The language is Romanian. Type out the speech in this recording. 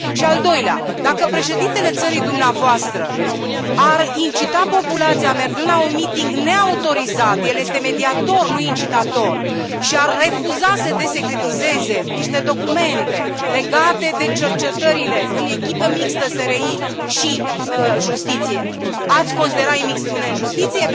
Și a doua întrebare dacă președintele țării dumneavoastră ar incita populația mergând la un miting neautorizat el este mediator, nu incitator și ar refuza să desecretizeze niște documente legate de cercetările în echipă mixtă SRI și justiție, ați considera imixtiune în justiție?